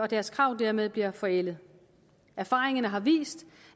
deres krav dermed bliver forældet erfaringerne har vist